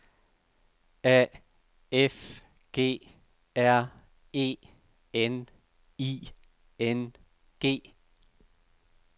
A F G R E N I N G